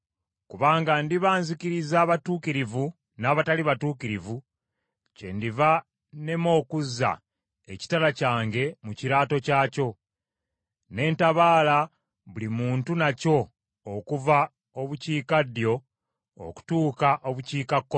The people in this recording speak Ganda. Kubanga ndiba nzikiriza abatuukirivu n’abatali batuukirivu, kyendiva nnema okuzza ekitala kyange mu kiraato kyakyo, ne ntabaala buli muntu nakyo okuva Obukiikaddyo okutuuka Obukiikakkono.